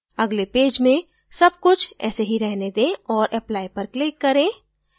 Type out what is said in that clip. अगले पेज में सब कुछ ऐसे ही रहने दें और apply पर click करें